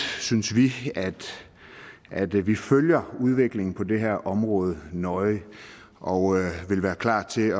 synes vi at vi følger udviklingen på det her område nøje og er klar til